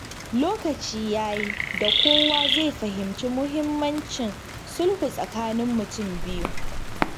Lokaci ya yi da kowa zai fahimci muhimmancin sulhu tsakanin mutum biyu.